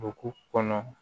Dugu kɔnɔ